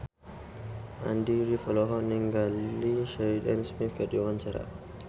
Andy rif olohok ningali Sheridan Smith keur diwawancara